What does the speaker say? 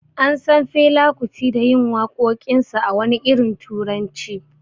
An San Fela Kuti da yin wakokinsa a wani irin turanci.